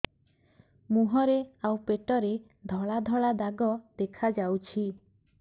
ମୁହଁରେ ଆଉ ପେଟରେ ଧଳା ଧଳା ଦାଗ ଦେଖାଯାଉଛି